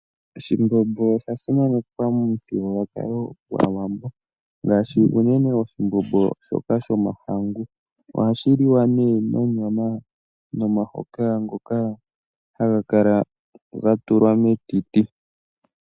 Oshimbombo osha simanekwa momuthigululwakalo gwAawambo, unene tuu oshimbombo shomahangu. Ohashi liwa nomahoka gonyama ngoka haga kala ga tulwa metiti.